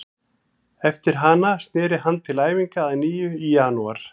Eftir hana snéri hann til æfinga að nýju í janúar.